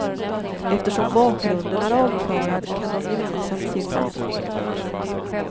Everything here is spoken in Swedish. Eftersom bakgrunden är avklarad kan de gemensamt se framåt.